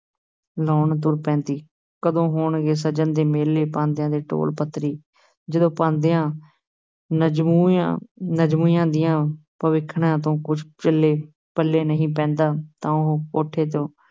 ਲੁਆਉਣ ਤੁਰ ਪੈਂਦੀ ਹੈ, ਕਦੋਂ ਹੋਣਗੇ ਸਜਨ ਦੇ ਮੇਲੇ, ਪਾਂਧਿਆ ਦੇ ਤੋਲ ਪੱਤਰੀ, ਜਦੋਂ ਪਾਂਧਿਆਂ ਨਜ਼ੂਮੀਆਂ ਨਜ਼ੂਮੀਆਂ ਦੀਆਂ ਭਵਿੱਖਣਾਂ ਤੋਂ ਕੁਛ ਚੱਲੇ ਪੱਲੇ ਨਹੀਂ ਪੈਂਦਾ, ਤਾਂ ਉਹ ਕੋਠੇ ਤੋਂ